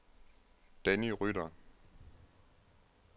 Danny Rytter